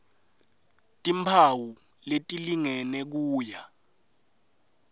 timphawu letilingene kuya